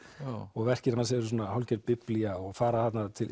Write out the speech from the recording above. og verkin hans eru hálfgerð biblía og fara